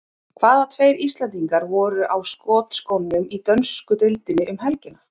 Hvaða tveir Íslendingar voru á skotskónum í dönsku deildinni um helgina?